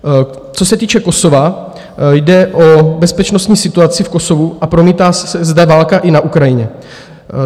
Co se týče Kosova, jde o bezpečnostní situaci v Kosovu a promítá se zde válka i na Ukrajině.